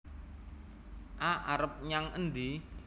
A arep nyang endi